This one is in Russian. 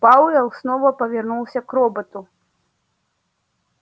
пауэлл снова повернулся к роботу